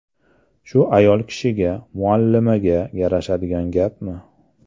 Shu ayol kishiga, muallimaga yarashadigan gapmi?